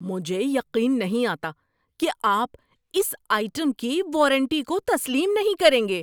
مجھے یقین نہیں آتا کہ آپ اس آئٹم کی وارنٹی کو تسلیم نہیں کریں گے۔